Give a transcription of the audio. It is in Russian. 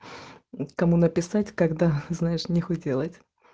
кому написать когда знаешь не хотела это